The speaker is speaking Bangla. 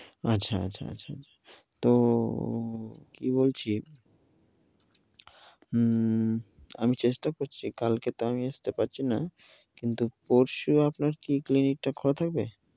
আচ্ছা আচ্ছা আচ্ছা, তো কি বলছি উ আমি চেষ্টা করছি কালকে তোম আমি আসতে পারছি না, কিন্তু পরশু কি আপনার clinic টা খোলা থাকবে?